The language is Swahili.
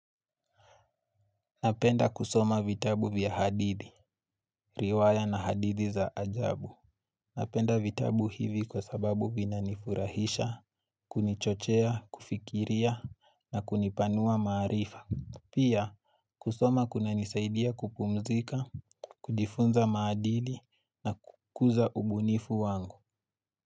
Napenda kusoma vitabu vya hadithi, riwaya na hadithi za ajabu. Napenda vitabu hivi kwa sababu vinanifurahisha, kunichochea, kufikiria na kunipanua maarifa. Pia kusoma kunanisaidia kupumzika, kujifunza maadili na kukuza ubunifu wangu.